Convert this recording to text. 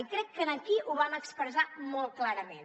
i crec que aquí ho vam expressar molt clarament